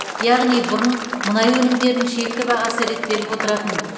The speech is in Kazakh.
яғни бұрын мұнай өнімдерінің шекті бағасы реттеліп отыратын